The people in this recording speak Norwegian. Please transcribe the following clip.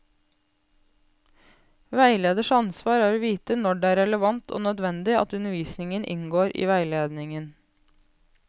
Veileders ansvar er å vite når det er relevant og nødvendig at undervisning inngår i veiledningen.